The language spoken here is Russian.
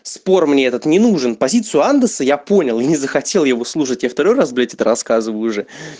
спор мне этот не нужен позицию андерса я понял не захотел его слушать я второй раз блять это рассказываю уже